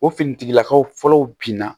O finitigilakaw fɔlɔw binna